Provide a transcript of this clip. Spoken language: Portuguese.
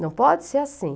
Não pode ser assim.